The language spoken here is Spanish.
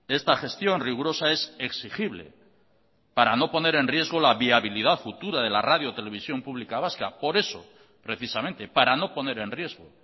esta gestión rigurosa es exigible para no poner en riesgo la viabilidad futura de la radio televisión pública vasca por eso precisamente para no poner en riesgo